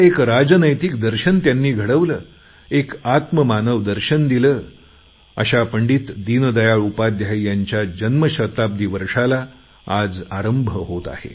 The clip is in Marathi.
एकात्म मानरव दर्शन दिले अशा पंडित दीनदयाळ उपाध्याय यांच्या जन्मशताब्दी वर्षाला आज आरंभ होत आहे